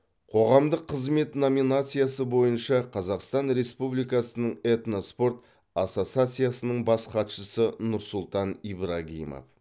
қоғамдық қызмет номинациясы бойынша қазақстан республикасының этноспорт ассоциациясының бас хатшысы нұрсұлтан ибрагимов